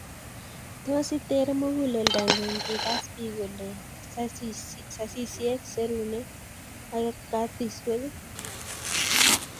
Tos iter muguleldongung ngikas bik kolen saisiek, serunek ak katiswek